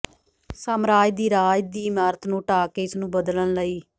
ਸਾਮਰਾਜ ਦੀ ਰਾਜ ਦੀ ਇਮਾਰਤ ਨੂੰ ਢਾਹ ਕੇ ਇਸ ਨੂੰ ਬਦਲਣ ਲਈ